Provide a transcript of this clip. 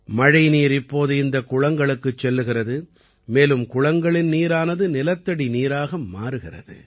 மழைநீர் இப்போது இந்தக் குளங்களுக்குச் செல்கிறது மேலும் குளங்களின் நீரானது நிலத்தடி நீராக மாறுகிறது